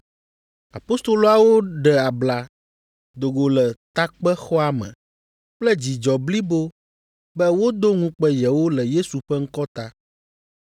Apostoloawo ɖe abla do go le takpexɔa me kple dzidzɔ blibo be wodo ŋukpe yewo le Yesu ƒe ŋkɔ ta.